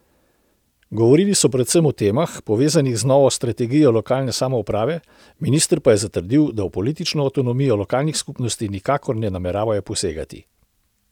Govorili so predvsem o temah, povezanih z novo strategijo lokalne samouprave, minister pa je zatrdil, da v politično avtonomijo lokalnih skupnosti nikakor ne nameravajo posegati.